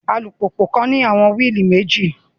Alupupu kan ni awọn willi meji